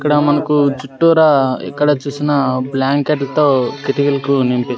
ఇక్కడ మనకు చుట్టురా ఎక్కడ చూసిన బ్లాంకెట్ తో కిటికీలకు నింపి --